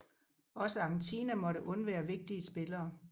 Også Argentina måtte undvære vigtige spillere